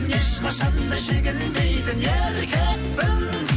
ешқашанда жеңілмейтін еркекпін